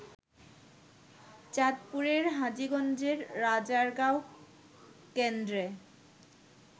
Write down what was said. চাঁদপুরের হাজীগঞ্জের রাজারগাঁও কেন্দ্রে